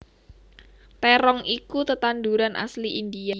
Terong iku tetanduran asli India